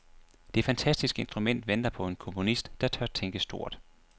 Det fantastiske instrument venter på en komponist, der tør tænke stort.